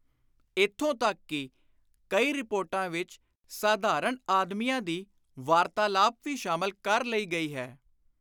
ਇਥੋਂ ਤਕ ਕਿ ਕਈ ਰਿਪੋਰਟਾਂ ਵਿਚ ਸਾਧਾਰਣ ਆਦਮੀਆਂ ਦੀ ਵਾਰਤਾਲਾਪ ਵੀ ਸ਼ਾਮਲ ਕਰ ਲਈ ਗਈ ਹੈ।